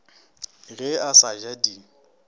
ge a sa ja di